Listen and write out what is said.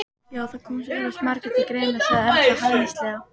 Já, það koma eflaust margir til greina sagði Erla hæðnislega.